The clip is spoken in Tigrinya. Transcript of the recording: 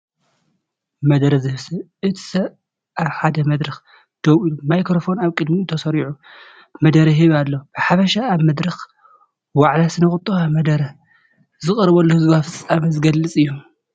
መደረ ዝህብ ሰብ፣ እቲ ሰብ ኣብ ሓደ መድረኽ ደው ኢሉ፡ ማይክሮፎን ኣብ ቅድሚኡ ተሰሪዑ፡ መደረ ይህብ ኣሎ። ብሓፈሻ ኣብ መድረኽ ዋዕላ ስነ-ቑጠባ መደረ ዝቐርበሉ ህዝባዊ ፍጻመ ዝገልጽ እዩ።